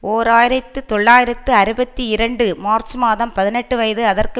ஓர் ஆயிரத்தி தொள்ளாயிரத்து அறுபத்தி இரண்டு மார்ச் மாதம் பதினெட்டு வயது அதற்கு